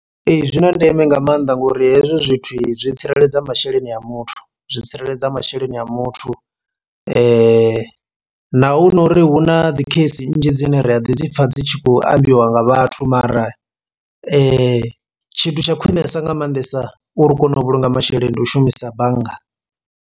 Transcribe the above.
Ee zwi na ndeme nga maanḓa ngori hezwi zwithu zwi tsireledza masheleni a muthu zwi tsireledza masheleni a muthu, na hu nori hu na dzi case nnzhi dzine ri a ḓi dzi pfha dzi tshi khou ambiwa nga vhathu mara tshithu tsha khwinesa nga maanḓesa uri u kone u vhulunga masheleni ndi u shumisa bannga.